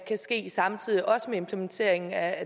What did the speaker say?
ske samtidig også med implementeringen af